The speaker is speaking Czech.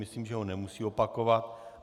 Myslím, že ho nemusí opakovat.